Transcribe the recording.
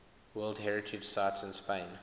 world heritage sites in spain